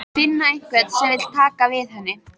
Finna einhvern sem vill taka við henni.